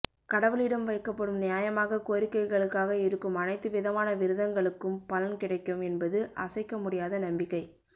கடவுளிடம் வைக்கப்படும் நியாயமாக கோரிக்கைகளுக்காக இருக்கும் அனைத்து விதமான விரதங்களுக்கும் பலன் கிடைக்கும் என்பது அசைக்க முடியாத நம்பிக்கை